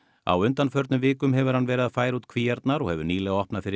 á undanförnum vikum hefur hann verið að færa út kvíarnar og hefur nýlega opnað fyrir